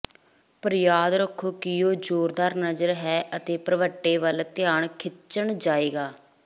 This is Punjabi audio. ਪਰ ਯਾਦ ਰੱਖੋ ਕਿ ਉਹ ਜ਼ੋਰਦਾਰ ਨਜ਼ਰ ਹੈ ਅਤੇ ਭਰਵੱਟੇ ਵੱਲ ਧਿਆਨ ਖਿੱਚਣ ਜਾਵੇਗਾ